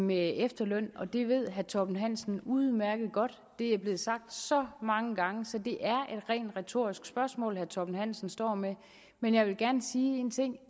med efterlønnen og det ved herre torben hansen udmærket godt det er blevet sagt så mange gange så det er et rent retorisk spørgsmål herre torben hansen står med men jeg vil gerne sige en ting